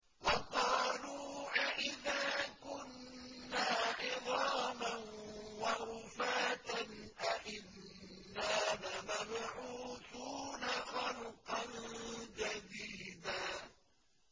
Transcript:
وَقَالُوا أَإِذَا كُنَّا عِظَامًا وَرُفَاتًا أَإِنَّا لَمَبْعُوثُونَ خَلْقًا جَدِيدًا